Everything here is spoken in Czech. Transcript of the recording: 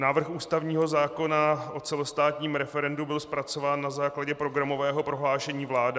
Návrh ústavního zákona o celostátním referendu byl zpracován na základě programového prohlášení vlády.